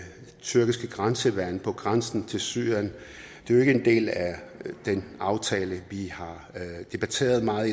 tyrkisk grænseværn på grænsen til syrien er det jo ikke en del af den aftale vi har debatteret meget